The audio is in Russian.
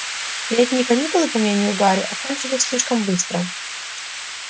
летние каникулы по мнению гарри окончились слишком быстро